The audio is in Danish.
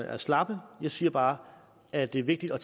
er slappe jeg siger bare at det er vigtigt at